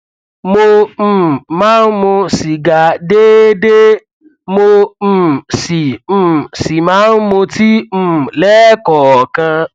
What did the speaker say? mo um máa ń mu sìgá déédéé mo um sì um sì máa ń mutí um lẹẹkọọkan